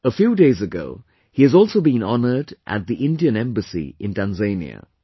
A few days ago, he has also been honoured at the Indian Embassy in Tanzania